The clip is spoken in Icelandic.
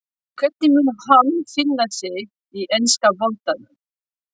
Hvernig mun hann finna sig í enska boltanum?